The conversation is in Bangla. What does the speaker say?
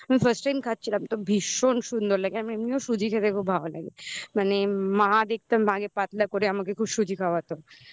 আমি first time খাচ্ছিলাম তো ভীষণ সুন্দর লাগে আমি এমনিও সুজি খেতে খুব ভালো লাগে মানে মা দেখতাম আগে পাতলা করে আমাকে খুব সুজি খাওয়াতো